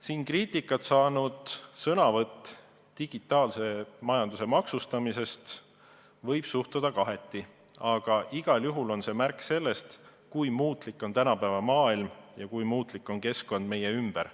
Siin kriitikat saanud ettekandesse digitaalse majanduse maksustamisest võib suhtuda kaheti, aga igal juhul on see märk sellest, kui muutlik on tänapäeva maailm ja kui muutlik on keskkond meie ümber.